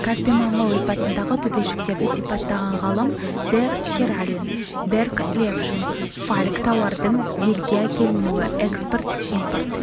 каспий маңы ойпатындағы төбешіктерді сипаттаған ғалым бэр карелин берг левшин фальк тауардың елге әкелінуі экспорт импорт